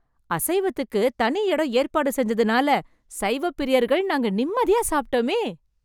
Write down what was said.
அசைவத்துக்குன்னு தனி இடம் ஏற்பாடு செஞ்சதுனால, சைவப்பிரியர்கள் நாங்க நிம்மதியா சாப்ட்டோமே...